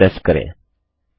ENTER की press करें